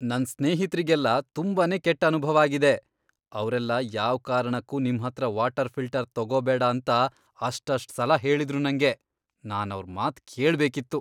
ನನ್ ಸ್ನೇಹಿತ್ರಿಗೆಲ್ಲ ತುಂಬಾನೇ ಕೆಟ್ ಅನುಭವ ಆಗಿದೆ, ಅವ್ರೆಲ್ಲ ಯಾವ್ಕಾರಣಕ್ಕೂ ನಿಮ್ಹತ್ರ ವಾಟರ್ ಫಿಲ್ಟರ್ ತಗೋಬೇಡ ಅಂತ ಅಷ್ಟಷ್ಟ್ ಸಲ ಹೇಳಿದ್ರು ನಂಗೆ. ನಾನ್ ಅವ್ರ್ ಮಾತ್ ಕೇಳ್ಬೇಕಿತ್ತು.